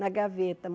na gaveta.